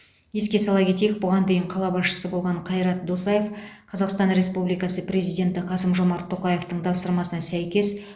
еске сала кетейік бұған дейін қала басшысы болған қайрат досаев қазақстан республикасы президенті қасым жомарт тоқаевтың тапсырмасына сәйкес